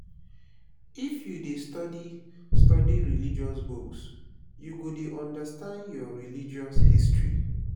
if you dey study study religious books you go dey understand your religious history